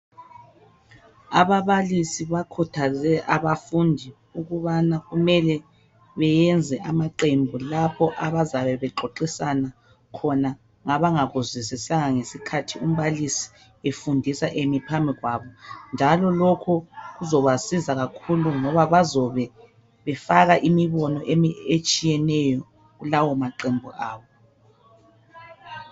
Ababalisi bakhuthaze abafundi ukubana kumele beyenze amaqembu lapho abazabe bexoxisana khona ngabangakuzwisisanga ngesikhathi umbalisi efundisa eme phambi kwabo, njalo lokhu kuzabasiza kakhulu ngoba bazobe befaka imibono etshiyeneyo kulawo maqembu abo.